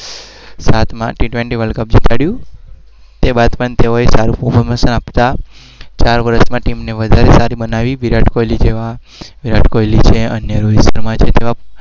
T twenty world cup